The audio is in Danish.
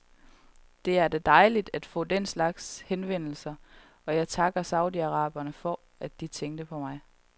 Det er da dejligt at få den slags henvendelser, og jeg takkede saudi-araberne for, at de tænker på mig.